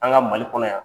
An ka mali kɔnɔ yan